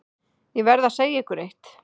Ég verð að segja ykkur eitt.